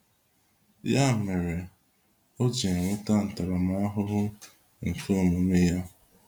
Ya mere, o ji enweta ntaramahụhụ nke omume ya.